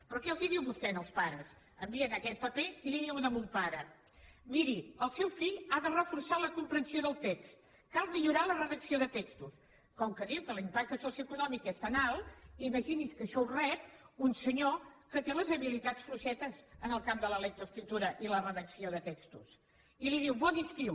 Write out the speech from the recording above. però què els diu vostè als pares envien aquest paper i li diuen a un pare miri el seu fill ha de reforçar la comprensió del text cal millorar la redacció de textos com que diu que l’impacte socioeconòmic és tan alt imagini’s que això ho rep un senyor que té les habilitats fluixetes en el camp de la lectoescriptura i la redacció de textos i li diu bon estiu